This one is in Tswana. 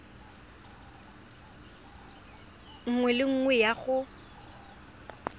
nngwe le nngwe ya go